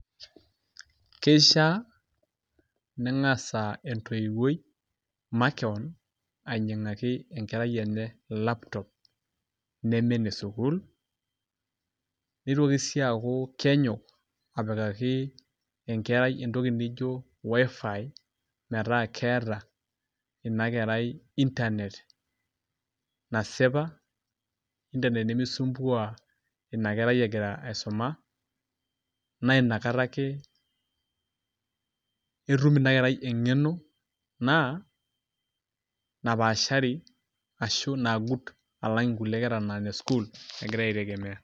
Keishiaa ning'asa entoiweuoi makeon ainying'aki enkerai enye laptop neme enesukuul nitoki sii aaku kenyok apikaki enkerai entoki nijio WiFi metaa keeta ina kerai internet nasipa intanet nemisumbua ina kerai egira aisuma naa kata ake etum ina kerai eng'eno napaashari ashu nagut alang' nkulie kera naa inesukuul egira aitegemea.